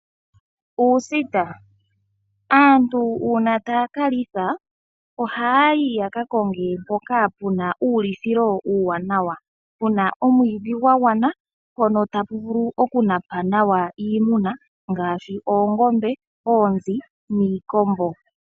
Uusita aantu uuna taya kalitha ohaya yi yakakonge mpono pena uulithilo uuwanawa puna omwiidhi gwagwana mpono tapu vulu okunapa nawa iimuna ngaashi oongombe, oonzi niikombo.